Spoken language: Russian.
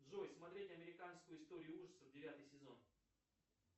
джой смотреть американскую историю ужасов девятый сезон